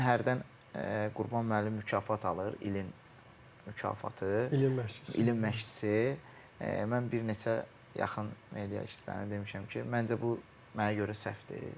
Mən hərdən Qurban müəllim mükafat alır, ilin mükafatı, ilin məşqçisi, mən bir neçə yaxın media işçilərinə demişəm ki, məncə bu mənə görə səhvdir.